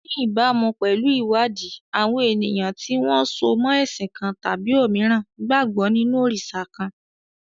Ní ìbámu pẹ̀lú ìwádìí, àwọn ènìyàn tí wọ́n so mọ́ ẹ̀sìn kan tàbí òmíràn gbàgbọ́ nínú òrìṣà kan.